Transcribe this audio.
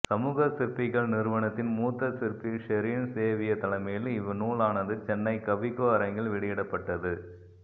சமூக சிற்பிகள் நிறுவனத்தின் மூத்த சிற்பி ஷெரின் சேவியர் தலைமையில் இவ் நூலானது சென்னை கவிக்கோ அரங்கில் வெளியிடப்பட்டது